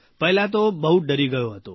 પહેલા તો બહુ ડરી ગયો હતો